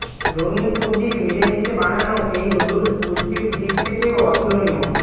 রঙিন সব্জির মিলমিশে বানানো এই নুডলস পুষ্টির দিক থেকেও অতুলনীয়